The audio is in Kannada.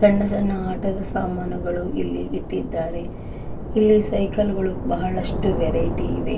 ಸಣ್ಣ ಸಣ್ಣ ಆಟದ ಸಾಮಾನುಗಳು ಇಲ್ಲಿ ಇಟ್ಟಿದ್ದಾರೆ. ಇಲ್ಲಿ ಸೈಕ್ಲಗಲ್ಲು ಬಹಳಷ್ಟು ವೆರೈಟಿ ಇವೆ.